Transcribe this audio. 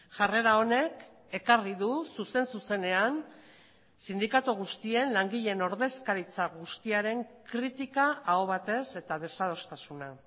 jarrera honek ekarri du zuzen zuzenean sindikatu guztien langileen ordezkaritza guztiaren kritika aho batez eta desadostasuna